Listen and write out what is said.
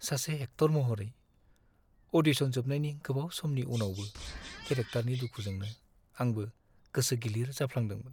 सासे एक्टर महरै, अ'डिशन जोबनायनि गोबाव समनि उनावबो केरेक्टारनि दुखुजोंनो आंबो गोसो गिलिर जाफ्लांदोंमोन।